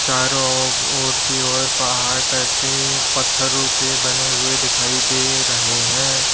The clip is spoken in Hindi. चारों ओर की ओर पहाड़ टाइप की पत्थरों के बने हुए दिखाई दे रहे हैं।